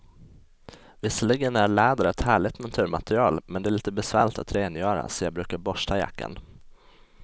Visserligen är läder ett härligt naturmaterial, men det är lite besvärligt att rengöra, så jag brukar borsta jackan.